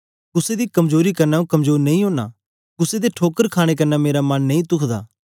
कुसे दी कमजोरी कन्ने आंऊँ कमजोर नेई ओना कुसे दे ठोकर खाणे कन्ने मेरा मन नेई तूखदा